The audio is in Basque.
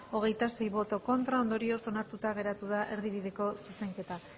hogeita sei ez ondorioz onartuta geratu da erdibideko zuzenketa